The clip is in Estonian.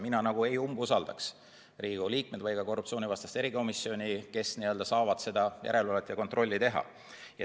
Mina ei umbusaldaks Riigikogu liikmeid, ka korruptsioonivastast erikomisjoni, kes saab seda järelevalvet ja kontrolli teha.